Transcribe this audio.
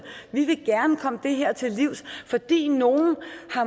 vi vil gerne komme det her til livs fordi nogle